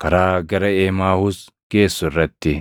Karaa Gara Emaahuus Geessu Irratti